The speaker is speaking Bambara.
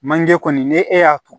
Manje kɔni ni e y'a to